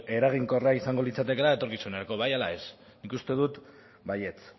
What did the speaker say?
eraginkorra izango litzatekela etorkizunerako bai ala ez nik uste dut baietz